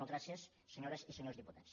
moltes gràcies senyores i senyors diputats